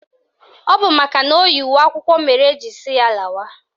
Ọ bụ makana o yi uwe akwụkwọ mere eji sị ya lawa